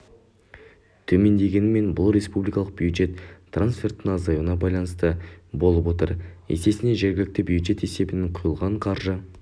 төмендегенімен бұл республикалық бюджет трансферттерінің азаюына байланысты болып отыр есесіне жергілікті бюджет есебінен құйылған қаржы